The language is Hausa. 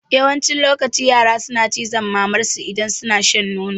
Yawancin lokaci yara suna cizon mamar su idan suna shan nono